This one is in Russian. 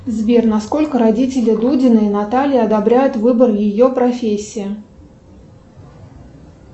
сбер насколько родители дудиной натальи одобряют выбор ее профессии